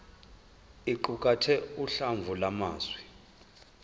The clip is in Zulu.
iqukathe uhlamvu lwamazwi